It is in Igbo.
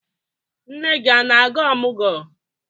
Nne gị a na-aga ọmụgwọ?